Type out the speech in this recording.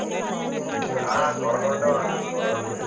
ആ കുറവുണ്ട് മാമി കുറവുണ്ട് കുറവുണ്ട്